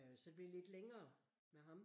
Øh så det blev lidt længere med ham